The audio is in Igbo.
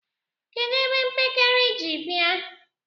kedụ ebe mpekere ị ji bia?